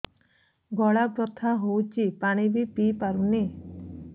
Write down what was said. ଗଳା ବଥା ହଉଚି ପାଣି ବି ପିଇ ପାରୁନି